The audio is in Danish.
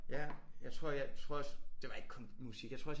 Ja jeg tror jeg tror også det var ikke kun musik jeg tror også jeg